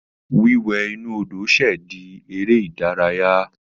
Wíwẹ̀ inú Odò ṣẹ̀ di eré ìdárayá.